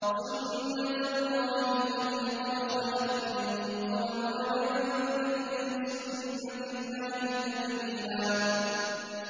سُنَّةَ اللَّهِ الَّتِي قَدْ خَلَتْ مِن قَبْلُ ۖ وَلَن تَجِدَ لِسُنَّةِ اللَّهِ تَبْدِيلًا